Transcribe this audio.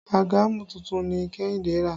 Àgàmú tuntun ni Kehinde rà